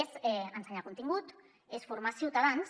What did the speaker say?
és ensenyar contingut és formar ciutadans